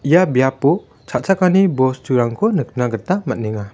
ia biapo cha·chakani bosturangko nikna gita man·enga.